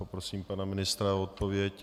Poprosím pana ministra o odpověď.